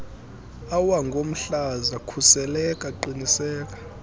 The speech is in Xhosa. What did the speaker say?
awangomhlaza khuseleka qiniseka